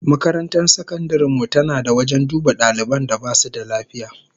Makarantar sakandaren mu tana da wajen duba daliban da basu da lafiya